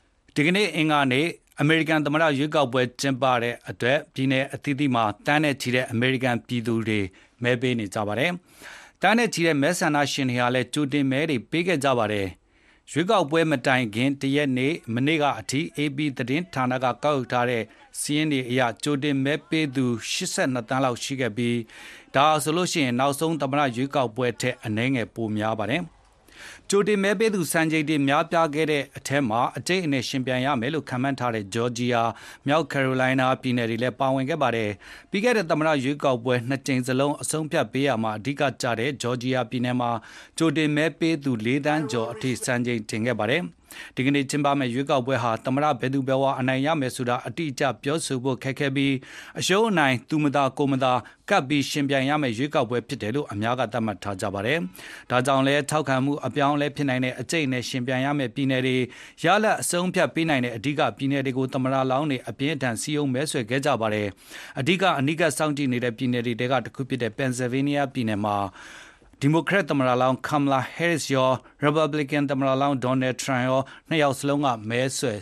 ဒီနေ့ အင်္ဂါနေ့ အမေရိကန် သမ္မတရွေးကောက်ပွဲ ကျင်းပတဲ့အတွက် ပြည်နယ်အသီးသီးက သန်းနဲ့ချီတဲ့ အမေရိကန်ပြည်သူတွေ မဲပေးဖို့ မဲရုံတွေကို သွားနေကြပါပြီ။ သန်းနဲ့ချီတဲ့ မဲဆန္ဒရှင်တွေလည်း ကြိုတင်မဲတွေ ပေးခဲ့ကြတာပါ။ရွေးကောက်ပွဲမတိုင်ခင်တရက် မနေ့ကအထိ AP သတင်းဌာနက ကောက်ယူထားတဲ့ စာရင်းအရ ကြိုတင်မဲပေးသူ ၈၂သန်းလောက် ရှိခဲ့ပြီး ဒါဟာဆိုရင် နောက်ဆုံး သမ္မတရွေးကောက်ပွဲထက် အနည်းငယ် ပိုများပါတယ်။ ကြိုတင်မဲပေးသူ စံချိန်တင် များပြားခဲ့တဲ့ထဲမှာ အကြိတ်အနယ်ယှဉ်ပြိုင်ရမယ်လို့ ခန့်မှန်းထားတဲ့ ဂျော်ဂျီယာ၊ မြောက်ကယ်ရိုလိုင်းနား ပြည်နယ်တွေလည်း ပါဝင်ခဲ့တာပါ။ ပြီးခဲ့တဲ့ သမ္မတရွေးကောက်ပွဲ ၂ ကြိမ်စလုံး အဆုံးအဖြတ်ပေးရာမှာ အဓိကကျခဲ့တဲ့ ဂျော်ဂျီယာပြည်နယ်မှာ ကြိုတင်မဲပေးသူ ၄ သန်း ကျော်အထိ စံချိန်ချိုးခဲ့ပါတယ်။ ဒီနေ့ ကျင်းပမယ့် ရွေးကောက်ပွဲဟာ သမ္မတဘယ်သူဘယ်ဝါ အနိုင်ရမယ်ဆိုတာ အတိအကျပြောဖို့ ခက်ခဲပြီးအရှုံးအနိုင် သူမသာကိုယ်မသာ ကပ်ပြီး ယှဉ်ပြိုင်ရမယ့် ရွေးကောက်ပွဲဖြစ်တယ်လို့ အများက သတ်မှတ်ထားကြတာပါ။ဒါကြောင့်လည်း ထောက်ခံမှုအပြောင်းအလဲဖြစ်နိုင်တဲ့၊ အကြိတ်အနယ် ယှဉ်ပြိုင်ရမယ့် ပြည်နယ်တွေ၊ ရလဒ်အဆုံးအဖြတ်ပေးနိုင်တဲ့ အဓိကပြည်နယ်တွေကို သမ္မတလောင်းတွေ အပြင်းအထန် စည်းရုံးမဲဆွယ်ခဲ့ကြပါတယ်။အဓိက အနီးကပ်စောင့်ကြည့်နေတဲ့ ပြည်နယ်တွေထဲက တခုဖြစ်တဲ့ Pennsylvania ပြည်နယ်မှာ ဒီမိုကရက်သမ္မတလောင်း Kamala Harris ရော၊ ရီပတ်ဘလစ်ကန်သမ္မလောင်း Donald Trump ပါ နှစ်ယောက်စလုံး မနေ့က မဲဆွယ်